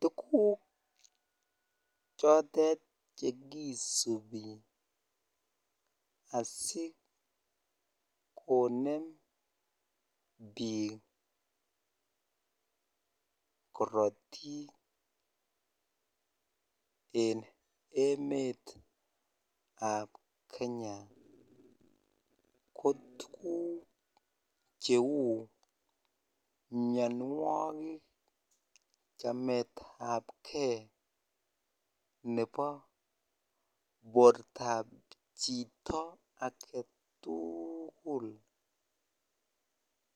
Tuguk chotet chekisupi asikonem biik korotik en emetab kenya ko tuguk cheu mianwogik, chametapge ne bo bortab chito agetuugul